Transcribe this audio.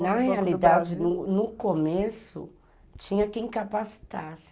Na realidade, no começo, tinha quem capacitasse.